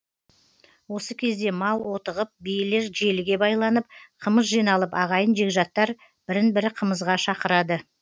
осы кезде мал отығып биелер желіге байланып қымыз жиналып ағайын жекжаттар бірін бірі қымызға шақырады